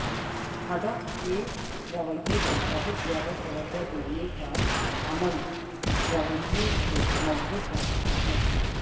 ہدف کے رویے پر بہت زیادہ توجہ دینے کا عمل رویے کو مضبوط بناتا ہے